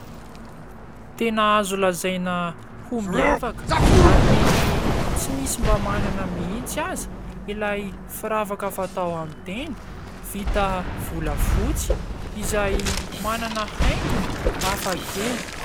Tena azo lazaina ho miavaka ary mety tsy misy mba manana mihitsy aza ; ilay firavaka fatao amin'ny tenda, vita vola fotsy ; izay manana haingony hafa kely.